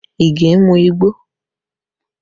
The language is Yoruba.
Ige ń mú igbó